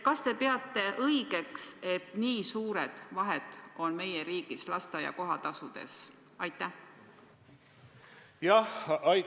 Kas te peate õigeks, et nii suured vahed on meie riigis lasteaia kohatasudes?